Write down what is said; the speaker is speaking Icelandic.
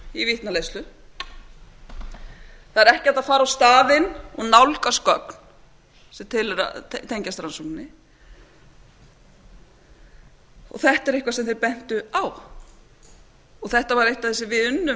til vitnaleiðslu það er ekki hægt að fara á staðinn og nálgast gögn sem tengjast rannsókninni og þetta er eitthvað sem þeir bentu á þetta er eitt af því sem við unnum